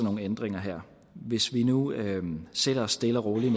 nogle ændringer her hvis vi nu sætter os stille og roligt